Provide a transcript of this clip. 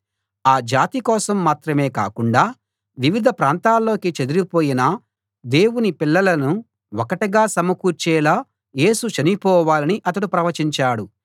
ఆ జాతి కోసం మాత్రమే కాకుండా వివిధ ప్రాంతాల్లోకి చెదరిపోయిన దేవుని పిల్లలను ఒకటిగా సమకూర్చేలా యేసు చనిపోవాలని అతడు ప్రవచించాడు